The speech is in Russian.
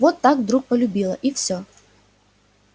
вот так вдруг полюбила и всё